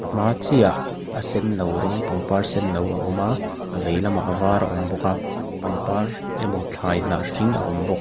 hma chiah ah a sen no rawng pangpar sen no a awm a a vei lamah a var a awm bawk a pangpar emaw thlai hnah hring a awm bawk--